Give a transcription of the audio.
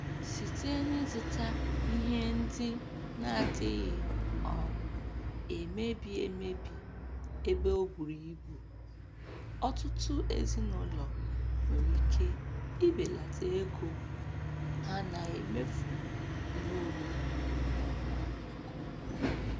Site n'ịzụta ihe ndị na-adịghị um emebi emebi ebe o bùrù ibù, ọtụtụ ezinụlọ nwere ike ibelata ego ha na-emefu n'ihe oriri kwa ọnwa nke ukwuu.